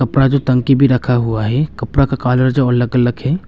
अपना जो टंकी भी रखा हुआ है कपड़ा का कलर जो अलग अलग है।